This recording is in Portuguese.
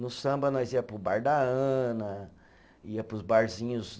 No samba nós ia para o bar da Ana, ia para os barzinhos